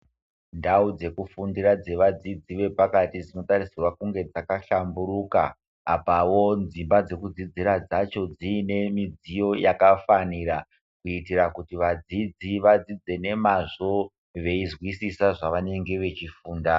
Ndau dzekufundira dzevadzidzi vepakati dzinotarisirwe kunge dzakahlamburuka apawo dzimba dzekudzidzira dzacho dziine midziyo yakafanira kuitira kuti vadzidzi vadzidze nemazvo veizwisisa zvavanenge vechifunda.